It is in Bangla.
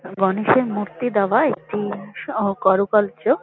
গনেশের মূর্তি দেওয়া একটি ও কারুকার্য--